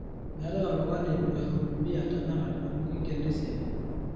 meetae oltungani loihudumia tenakata amu kinkeno esiai